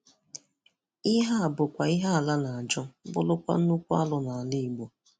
Ihe a bụkwa ihe Ala ihe Ala na-ajụ bụrụkwa nnukwu arụ nala Igbo.